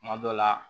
Kuma dɔ la